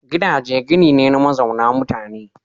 Gidaje gini ne na mazauna mutane.